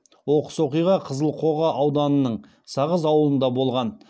оқыс оқиға қызылқоға ауданының сағыз ауылында болған